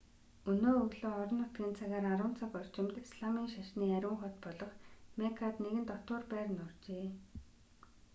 өнөө өглөө орон нутгийн цагаар 10 цаг орчимд исламын шашны ариун хот болох меккад нэгэн дотуур байр нуржээ